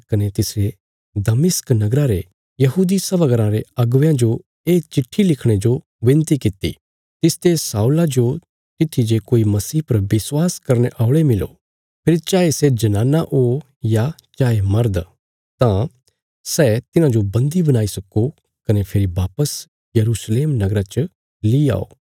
कने तिसरे दमिश्क नगरा रे यहूदी सभा घराँ रे अगुवेयां जो ये चिट्ठी लिखणे जो विनती कित्ती तिसते शाऊला जो तित्थी जे कोई मसीह पर विश्वास करने औल़े मिलो फेरी चाये सै जनाना ओ या चाये मर्द तां सै तिन्हांजो बन्दी बणाई सक्को कने फेरी वापस यरूशलेम नगरा च ली आओ